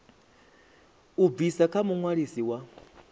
u bva kha muṅwalisi wa